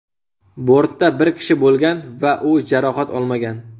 Bortda bir kishi bo‘lgan va u jarohat olmagan.